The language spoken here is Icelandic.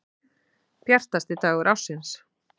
Bjartasti dagur ársins.